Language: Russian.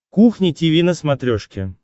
кухня тиви на смотрешке